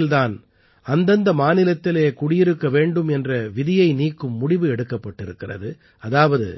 இந்த நோக்கில் தான் அந்தந்த மாநிலத்திலே குடியிருக்க வேண்டும் என்ற விதியை நீக்கும் முடிவு எடுக்கப்பட்டிருக்கிறது அதாவது